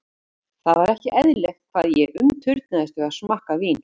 Það var ekki eðlilegt hvað ég umturnaðist við að smakka vín.